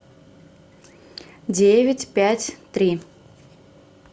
девять пять три